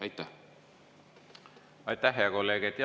Aitäh, hea kolleeg!